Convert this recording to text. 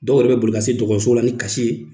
Dɔw yɛrɛ be boli ka se dɔgɔtɔrɔso la ni kasi ye